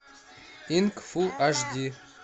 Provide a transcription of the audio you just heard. инк фу аш ди